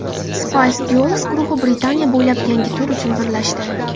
Spice Girls guruhi Britaniya bo‘ylab yangi tur uchun birlashdi.